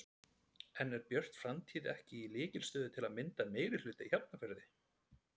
En er Björt framtíð ekki í lykilstöðu til að mynda meirihluta í Hafnarfirði?